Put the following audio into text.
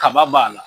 Kaba b'a la